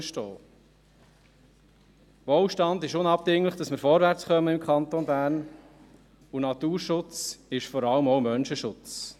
Wohlstand ist unabdingbar, damit wir im Kanton Bern vorwärtskommen, und Naturschutz ist vor allem auch Menschenschutz.